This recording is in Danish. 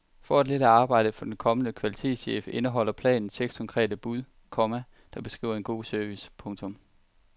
For at lette arbejdet for den kommende kvalitetschef indeholder planen seks konkrete bud, komma der beskriver god service. punktum